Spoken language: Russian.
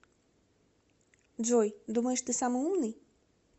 джой думаешь ты самый умный